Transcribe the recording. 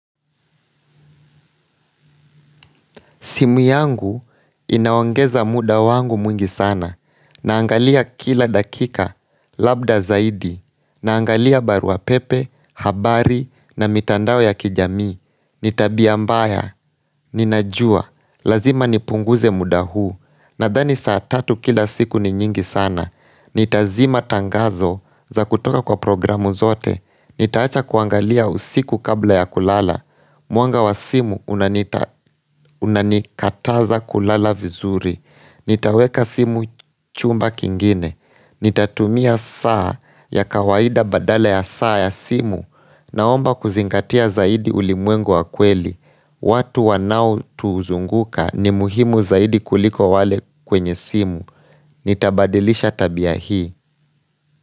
Simu yangu inaongeza muda wangu mwingi sana, naangalia kila dakika, labda zaidi, naangalia baruapepe, habari na mitandao ya kijami, ni tabia mbaya, ninajua, lazima nipunguze muda huu, nadhani saa tatu kila siku ni nyingi sana, nitazima tangazo za kutoka kwa programu zote, nitaacha kuangalia usiku kabla ya kulala, Mwanga wa simu unanikataza kulala vizuri Nitaweka simu chumba kingine Nitatumia saa ya kawaida badala ya saa ya simu Naomba kuzingatia zaidi ulimwengu wa kweli watu wanaotuzunguka ni muhimu zaidi kuliko wale kwenye simu Nitabadilisha tabia hii.